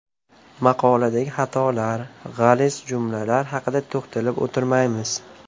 Maqoladagi xatolar, g‘aliz jumlalar haqida to‘xtalib o‘tirmaymiz.